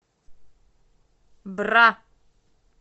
бра